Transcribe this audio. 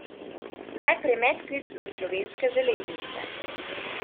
Najprej medklic za slovenske železnice.